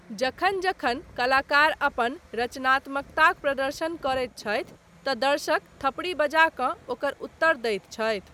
जखन जखन कलाकार अपन रचनात्मकताक प्रदर्शन करैत छथि, तँ दर्शक थपड़ी बजा कऽ ओकर उत्तर दैत छथि।